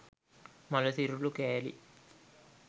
මළ සිරුරු කෑලි